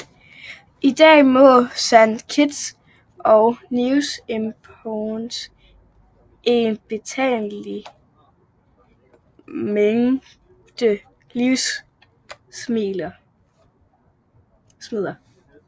I dag må Saint Kitts og Nevis importere en betragtelig mængde levnedsmidler